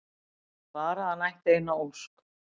Bara að hann ætti eina ósk!